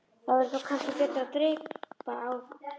Það væri þó kannski betra að dreypa á.